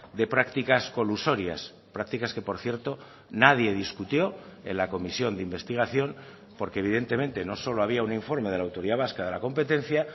de prácticas colusorias prácticas que por cierto nadie discutió en la comisión de investigación porque evidentemente no solo había un informe de la autoridad vasca de la competencia